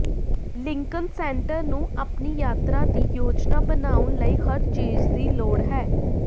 Lincoln Center ਨੂੰ ਆਪਣੀ ਯਾਤਰਾ ਦੀ ਯੋਜਨਾ ਬਣਾਉਣ ਲਈ ਹਰ ਚੀਜ਼ ਦੀ ਲੋੜ ਹੈ